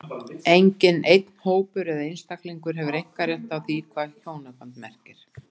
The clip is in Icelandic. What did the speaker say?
Enginn einn hópur eða einstaklingur hefur einkarétt á því hvað hjónaband merkir.